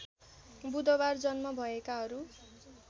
बुधबार जन्म भएकाहरू